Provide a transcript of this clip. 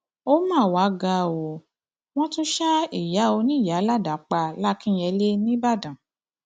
ó mà wàá ga ọ wọn tún ṣa ìyá oníyàá ládàá pa làkínyẹlé nìbàdàn